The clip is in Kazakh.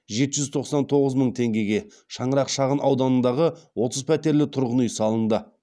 жеті жүз тоқсан тоғыз мың теңгеге шаңырақ шағын ауданындағы отыз пәтерлі тұрғын үй салынды